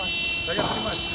Mən başa düşürəm.